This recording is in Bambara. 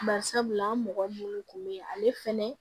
Bari sabula an mɔgɔ munnu kun be yen ale fɛnɛ